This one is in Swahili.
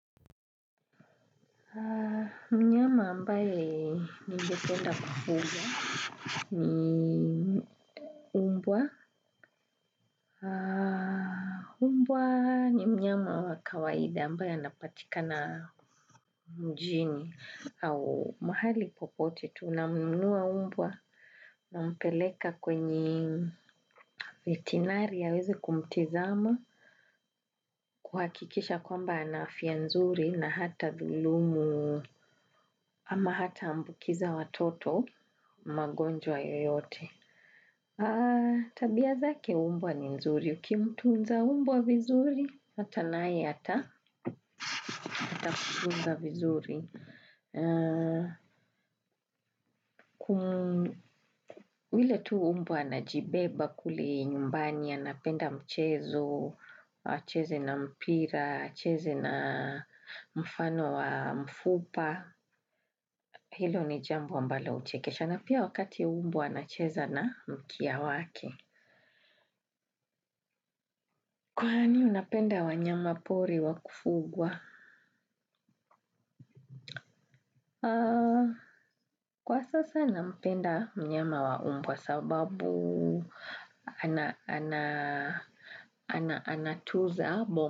Haa mnyama ambaye ningependa kufuka ni mmbwa mmbwa ni mnyama wa kawaida ambaye anapatikana mjini na mahali popote tunanunua umbwa nampeleka kwenye vetinary haweze kumtizama kuhakikisha kwamba anafia nzuri na hata dhulumu ama hata ambukiza watoto magonjwa yoyote. Tabia zake umbwa ni nzuri, ukimtuunza umbwa vizuri, hata nae hata, hatakutunza vizuri vile tu umbwa anajibeba kuli nyumbani, anapenda mchezo, cheze na mpira, cheze na mfano wa mfupa. Hilo ni jamou ambalo uchekesha na pia wakati umbwa anacheza na mkia wake. Kwaani unapenda wanyama pori wakufugwa? Kwa sasa nampenda mnyama wa umbwa sababu. Ana, ana, ana, ana, tuza.